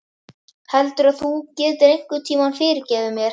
Heldurðu að þú getir einhvern tíma fyrirgefið mér?